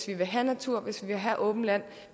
vil have natur hvis man vil have åbent land